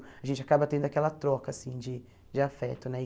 A gente acaba tendo aquela troca, assim, de de afeto, né?